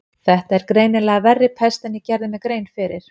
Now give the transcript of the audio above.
Þetta er greinilega verri pest en ég gerði mér grein fyrir.